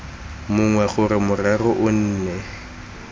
mongwe gore morero o nne